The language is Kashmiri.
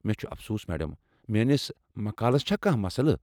مےٚ چھ افسوس، میڈم، میٲنِس مقالس چھا کانٛہہ مسلہٕ؟